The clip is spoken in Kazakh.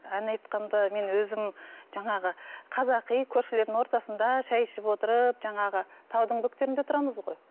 ән айтқанда мен өзім жаңағы қазақи көршілердің ортасында шай ішіп отырып жаңағы таудың бөктерінде тұрамыз ғой